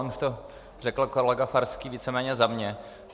On to řekl kolega Farský víceméně za mě.